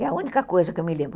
É a única coisa que eu me lembro.